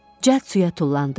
Cəld suya tullandım.